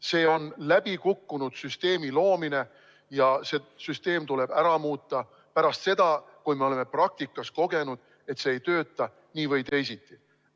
See on läbikukkunud süsteemi loomine ja see süsteem tuleb ära muuta, kui me oleme praktikas kogenud, et see ei tööta nii või teisiti.